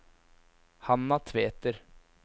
Hanna Tveter